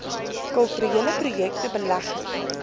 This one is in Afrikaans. kulturele projekte belegging